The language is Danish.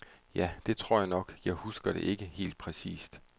Ja, det tror jeg nok, jeg husker det ikke helt præcist.